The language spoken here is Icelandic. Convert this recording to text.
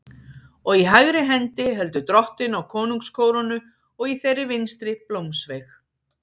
Og í hægri hendi heldur Drottinn á konungskórónu og í þeirri vinstri blómsveig.